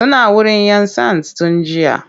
Suna wurin 'yan sands tun jiya.